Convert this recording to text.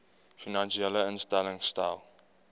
finansiële instellings stel